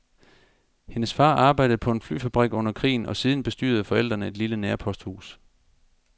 Hendes far arbejdede på en flyfabrik under krigen og siden bestyrede forældrene et lille nærposthus.